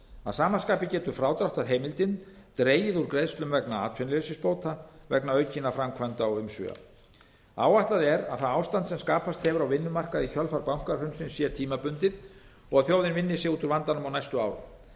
að sama skapi getur frádráttarheimildin dregið úr greiðslum vegna atvinnuleysisbóta vegna aukinna framkvæmda og umsvifa áætlað er að það ástand sem skapast hefur á vinnumarkaði í kjölfar bankahrunsins sé tímabundið og að þjóðin vinni sig út úr vandanum á næstu árum